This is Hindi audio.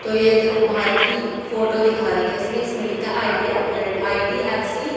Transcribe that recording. तो ये देखो पहार की फोटो दिखा रखें इसमें इसमें लिखा आइडिया आई_डी_एफ_सी --